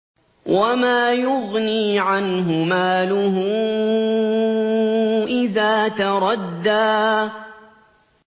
وَمَا يُغْنِي عَنْهُ مَالُهُ إِذَا تَرَدَّىٰ